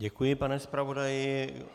Děkuji, pane zpravodaji.